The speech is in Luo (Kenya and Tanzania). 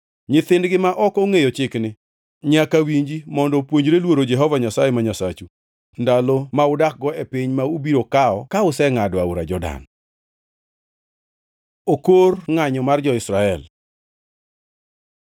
Nyithindgi ma ok ongʼeyo chikni nyaka winji mondo opuonjre luoro Jehova Nyasaye ma Nyasachu ndalo ma udakgo e piny ma ubiro kawo ka usengʼado aora Jordan.” Okor ngʼanyo mar jo-Israel